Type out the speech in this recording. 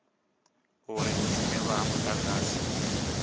uri u dzimelwa ha mudagasi